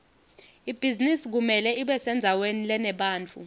ibhizinisi kumele ibesendzaweni lenebantfu